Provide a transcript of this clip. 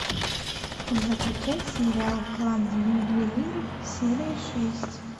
закачай сериал клан ювелиров серия шесть